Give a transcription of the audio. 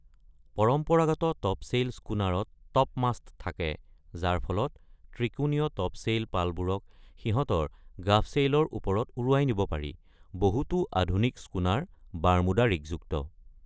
পৰম্পৰাগত টপছেইল স্কুনাৰত টপমাষ্ট থাকে যাৰ ফলত ত্ৰিকোণীয় টপছেইল পালবোৰক সিহঁতৰ গাফ ছেইলৰ ওপৰত উৰুৱাই নিব পাৰি; বহুতো আধুনিক স্কুনাৰ বাৰ্মুডা ৰিগযুক্ত।